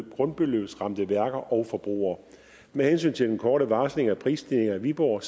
grundbeløbsramte værker og forbrugere med hensyn til den korte varsling af prisstigninger i viborg